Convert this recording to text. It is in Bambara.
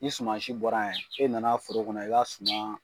Ni sumansi bɔra yan e na na foro kɔnɔ i b'a suma